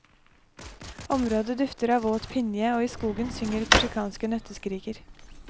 Området dufter av våt pinje og i skogen synger korsikanske nøtteskriker.